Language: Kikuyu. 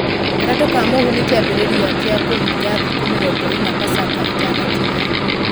Gatatũ ka mũhũ ni kĩambĩrĩria kĩa kũhinga thikũ mĩrongo ĩna pasaka ĩtanakinya.